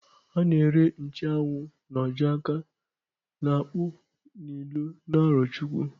A na-ere nche anwụ n'ojo-aka n'akpu n'ilo n'Arochukwu.